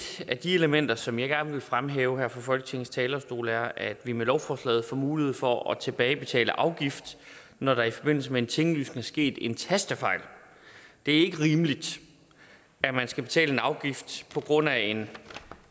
af de elementer som jeg gerne vil fremhæve her fra folketingets talerstol er at vi med lovforslaget får mulighed for at tilbagebetale afgift når der i forbindelse med en tinglysning er sket en tastefejl det er ikke rimeligt at man skal betale en afgift på grund af en